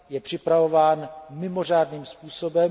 Je připravován mimořádným způsobem.